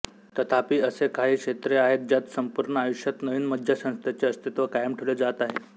तथापि असे काही क्षेत्रे आहेत ज्यात संपूर्ण आयुष्यात नवीन मज्जासंस्थेचे अस्तित्व कायम ठेवले जात आहे